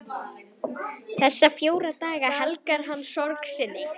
Þessa fjóra daga helgar hann sorg sinni.